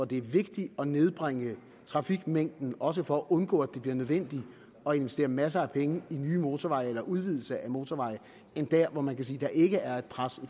det er vigtigt at nedbringe trafikmængden også for at undgå at det bliver nødvendigt at investere masser af penge i nye motorveje eller i udvidelser af motorveje end der hvor man kan sige der ikke er pres